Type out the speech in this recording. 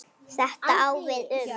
Þetta á við um